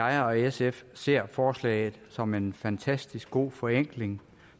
jeg og sf ser forslaget som en fantastisk god forenkling